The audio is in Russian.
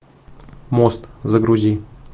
мост загрузи